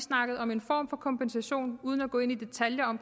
snakkede om en form for kompensation uden at gå i detaljer om